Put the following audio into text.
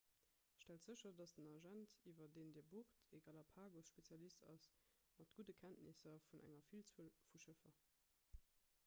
stellt sécher datt den agent iwwer deen dir bucht e galapagos-spezialist ass mat gudde kenntnisser vun enger villzuel vu schëffer